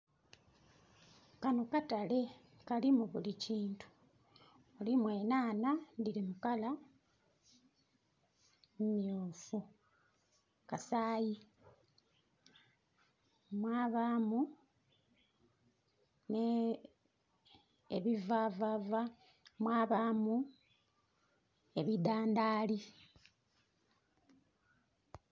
Kano katale kalimu buli kintu. Kalimu enhanha dhiri mu colour myufu, kasayi mwabamu n' ebivavava mwabamu ebidhandhali